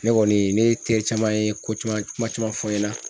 Ne kɔni , ne ye teri caman ye ko caman caman fɔ n ɲɛna